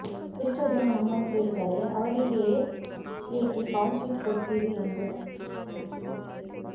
ಎಷ್ಟೋ ಜನ ನಮ್ಮನ್ನು ಕೇಳ್ತಾರೆ ಅವರಿಗೇ ಏಕೆ ಕಾಲ್ ಶೀಟ್ ಕೊಡ್ತೀರಿ ಎಂದು